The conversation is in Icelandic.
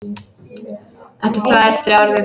Eftir tvær, þrjár vikur.